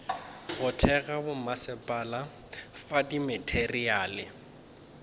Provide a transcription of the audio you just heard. go thekga bommasepala fa dimateriale